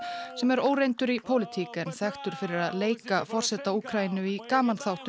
sem er óreyndur í pólitík en þekktur fyrir að leika forseta Úkraínu í